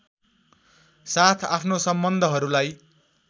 साथ आफ्नो सम्बन्धहरूलाई